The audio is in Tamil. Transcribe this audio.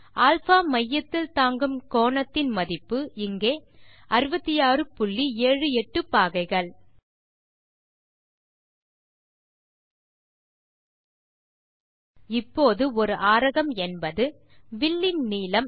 α மையத்தில் தாங்கும் கோணத்தின் மதிப்பு இங்கே 6678 பாகைகள் இப்போது ஒரு ஆரகம் என்பது வில்லின் நீளம்